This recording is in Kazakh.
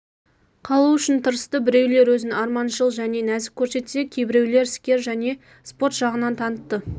қалу үшін тырысты біреулер өзін арманшыл және нәзік көрсетсе кейбіреулер іскер және спорт жағынан таныты